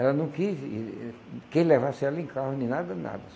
Ela não quis... quem levasse ela em carro, nem nada, nada.